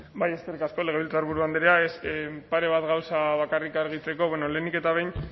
hitza eskerrik asko legebiltzarburu andrea pare bat gauza bakarrik argitzeko bueno lehenik eta behin